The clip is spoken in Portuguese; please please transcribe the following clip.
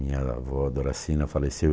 Minha avó, Doracina, faleceu.